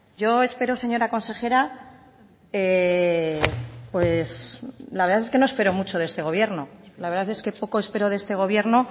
yo espero señora consejera pues la verdad es que no espero mucho de este gobierno la verdad es que poco espero de este gobierno